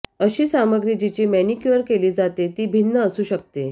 अशी सामग्री जिची मैनीक्यूअर केली जाते ती भिन्न असू शकते